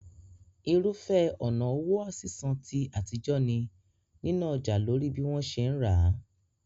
Irúfẹ́ ọ̀nà owó sísan ti àtijọ́ ni níná ọjà lórí bí wọ́n ṣe ra